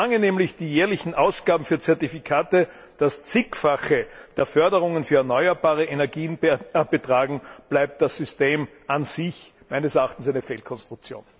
So lange nämlich die jährlichen Ausgaben für Zertifikate das Zigfache der Förderungen für erneuerbare Energien betragen, bleibt das System an sich meines Erachtens eine Fehlkonstruktion!